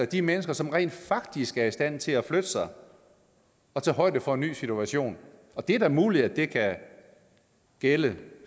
de mennesker som rent faktisk er i stand til at flytte sig og tage højde for en ny situation og det er da muligt at det kan gælde